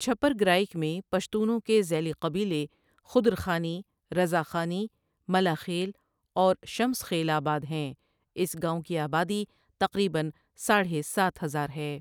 چھپرگرایک میں پشتونوں کے زیلی قبیلے خدرخانی، رضا خانی، ملا خیل اور شمس خیل آباد ہیں اس گاؤں کی آبادی تقريباً ساڑھے سات ہزار ہے ۔